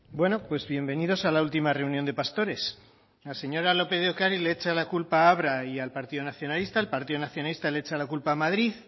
bueno pues bienvenidos a la última reunión de pastores la señora lópez de ocariz le echa la culpa a abra y al partido nacionalista el partido nacionalista le echa la culpa a madrid